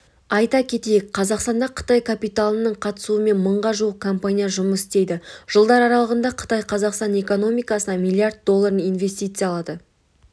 айта кетейік қазақстанда қытай капиталының қатысуымен мыңға жуық компания жұмыс істейді жылдар аралығында қытай қазақстан экономикасына млрд долларын инвестиялады